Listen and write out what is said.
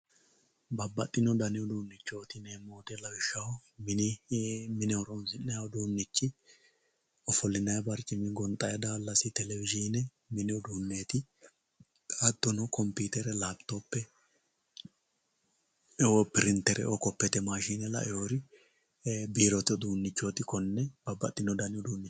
Babbaxxino dani uduunchoti yineemmo woyte lawishshaho mini mine horonsi'nanni uduunchi ofollinanni barcimi gonxanni daalasi telewishine mini uduuneti hattono komputere lapitophe piritereo kopete maashine lawinori biirote uduunchoti konne babbaxxino dani uduuncho.